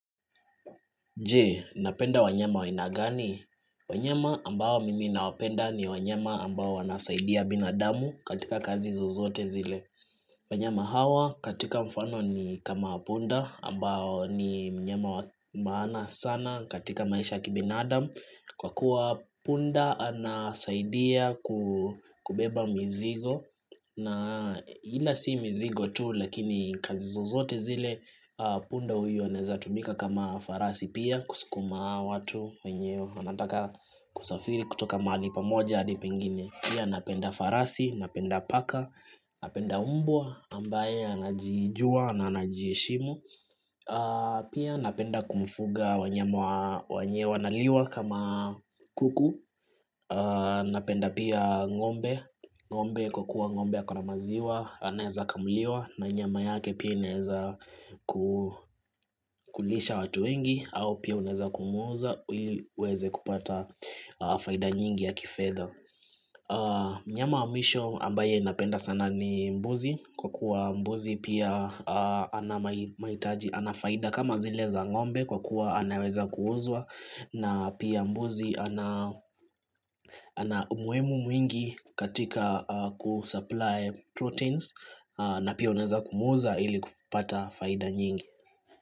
Je, napenda wanyama wa aina gani? Wanyama ambao mimi nawapenda ni wanyama ambao wanasaidia binadamu katika kazi zozote zile. Wanyama hawa katika mfano ni kama punda ambao ni mnyama wa maana sana katika maisha ya kibinadamu. Kwa kuwa punda anasaidia kubeba mizigo na ila si mizigo tu lakini kazi zozote zile punda huyo anawezatumika kama farasi pia kusukuma watu wenye wanataka kusafiri kutoka mahali pamoja hadi pengine. Pia napenda farasi, napenda paka, napenda mbwa, ambaye anajijua, na anajiheshimu Pia napenda kufuga wanyama wenye wanaliwa kama kuku Napenda pia ng'ombe, ng'ombe kwa kuwa ng'ombe ako na maziwa, anaweza kamuliwa na nyama yake pia inaweza kulisha watu wengi, au pia unaweza kumuuza, ili uweze kupata faida nyingi ya kifedha mnyama wa mwisho ambaye napenda sana ni mbuzi kwa kuwa mbuzi pia ana faida kama zile za ng'ombe kwa kuwa anaweza kuuzwa na pia mbuzi ana umuhimu mwingi katika kusupply proteins na pia unaweza kumuuza ili kupata faida nyingi.